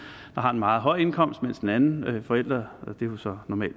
har en meget høj indkomst mens den anden forælder og det vil så